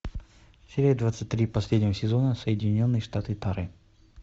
серия двадцать три последнего сезона соединенные штаты тары